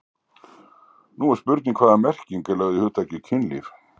Hér er spurning um hvaða merking er lögð í hugtakið kynlíf.